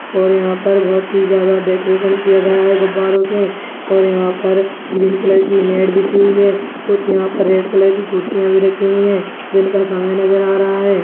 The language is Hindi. और यहाँ पर बहुत ही ज्यादा डेकोरेशन किया गया है गुब्बारो से और यहाँ पर ग्रीन कलर की नेट बिछी हुई है कुछ यहाँ पर रेड कलर की कुर्सियाँ भी रखी हुई है जिन पर समय नज़र आ रहा है ।